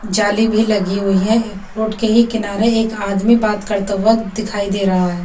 जाली भी लगी हुई है रोड के ही किनारे एक आदमी बात करता हुआ दिखाई दे रहा है।